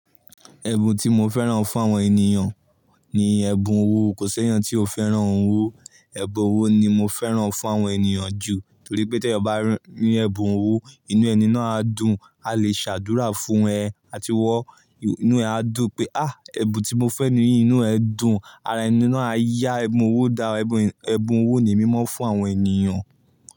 Ẹ̀bùn tí mo fẹ́ràn fún àwọn ènìyàn ni ẹ̀bùn owó. Kò sẹ́yàn tí o fẹ́ràn owó. Ẹ̀bùn owó ni mo fẹ́ràn fún àwọn ènìyàn jù torí pé tí ẹni bá rí ẹ̀bùn owó, inú ẹni náà á dùn, a lè ṣàdúrà fún ẹ àti iwọ́ inú ẹ á dùn pé "ẹbùn tí mo fẹ́ ní inú ẹ dùn", ara ẹni náà á yá ẹbùn owó daa Ẹ̀bùn owó ni emi maa fún àwọn ènìyàn.